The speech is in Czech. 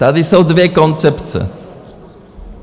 Tady jsou dvě koncepce.